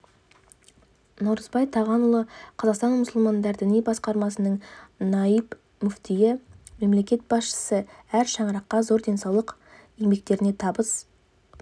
наурызбай тағанұлы қазақстан мұсылмандар діни басқармасының наиб мүфтиі мемлекет басшысы әр шаңыраққа зор денсаулық еңбектеріне табыс